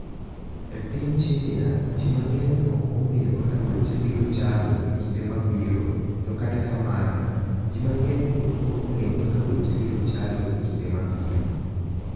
E piniy Chinia, ji manig'eniy ok onig'eyo kaka weche biro chalo e kinide ma biro, to kata kamano, ji manig'eniy pod ok onig'eyo kaka weche biro chalo e kinide ma biro.